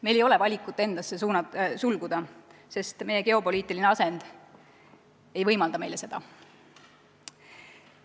Meil ei ole seda valikut, et me sulgume endasse, sest meie geopoliitiline asend ei võimalda meile seda.